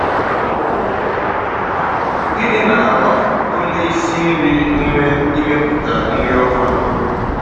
GỊNỊ na-agba onye isi nri ume ịmepụta nri ọhụrụ?